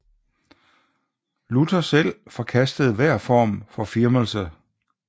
Luther selv forkastede hver form for firmelse